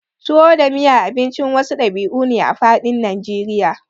tuwo da miya Abincin wasu ɗabi'u ne a faɗin najeriya